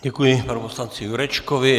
Děkuji panu poslanci Jurečkovi.